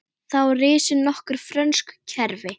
Þá risu nokkur frönsk hverfi.